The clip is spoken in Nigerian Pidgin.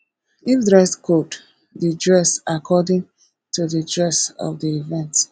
if dress code de dress according to di dress of di event